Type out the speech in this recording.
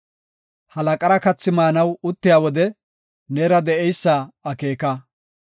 Halaqara kathi maanaw uttiya wode, neera de7eysa akeeka.